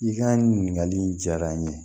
I ka ɲininkali in diyara n ye